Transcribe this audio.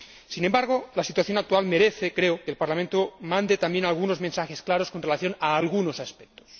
Sin embargo, la situación actual merece, creo, que el Parlamento mande también algunos mensajes claros con relación a algunos aspectos.